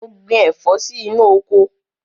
Mo gbin ẹ̀fọ́ sí inú oko.